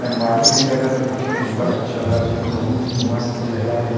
टंगवाली हे जगल देखे मे बड़ अच्छा लगत हे बहुत ही मस्त जगह--